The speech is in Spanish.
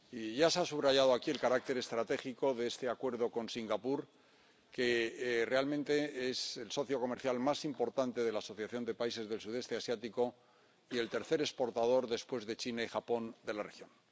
Ya se ha subrayado aquí el carácter estratégico de este acuerdo con Singapur, que realmente es el socio comercial más importante de la Asociación de Países del Sudeste Asiático y el tercer exportador, después de China y Japón, de la región.